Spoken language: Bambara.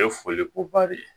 Ye foliko ba de ye